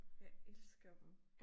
Jeg elsker dem